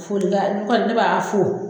Folikan ne kɔni ne b'a fo